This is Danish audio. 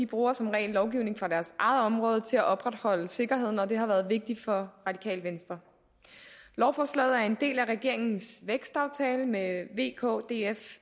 bruger som regel lovgivning fra deres eget område til at opretholde sikkerheden og det har været vigtigt for radikale venstre lovforslaget er en del af regeringens vækstaftale med v k df